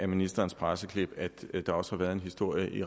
ministerens presseklip at der også har været en historie i